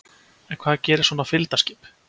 En hvað gerir svona fylgdarskip?